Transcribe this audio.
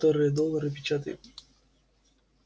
которая доллары печатает